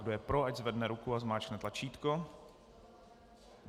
Kdo je pro, ať zvedne ruku a zmáčkne tlačítko.